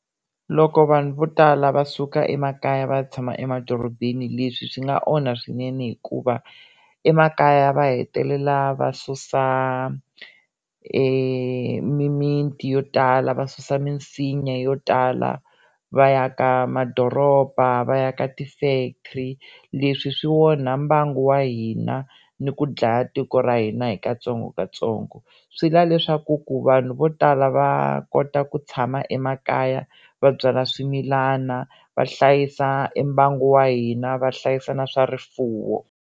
Loko vanhu vo tala va suka emakaya va tshama emadorobeni leswi swi nga onha swinene hikuva emakaya va hetelela va susa emimitini yo tala va susa minsinya yo tala va aka madoroba va aka ti-factory leswi swi onha mbangu wa hina ni ku dlaya tiko ra hina hi katsongokatsongo swi lava leswaku ku vanhu vo tala va kota ku tshama emakaya va byala swimilana va hlayisa e mbangu wa hina va hlayisa na swa rifuwo.